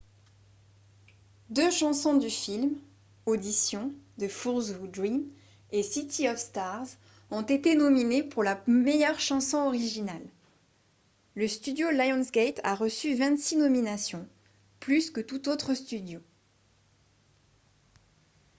deux chansons du film audition the fools who dream et city of stars ont été nominées pour la meilleure chanson originale. le studio lionsgate a reçu 26 nominations — plus que tout autre studio